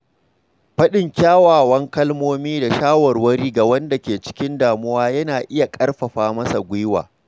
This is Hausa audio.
Faɗin kyawawan kalmomi da shawarwari ga wanda ke cikin damuwa yana iya ƙarfafa masa gwiwa.